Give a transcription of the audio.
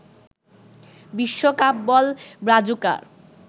বিশ্বকাপ বল ব্রাজুকার